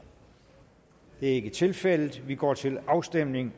det er ikke tilfældet vi går til afstemning